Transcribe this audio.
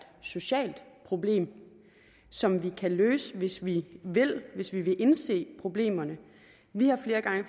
socialt problem som vi kan løse hvis vi vil hvis vi vil indse problemerne vi har flere gange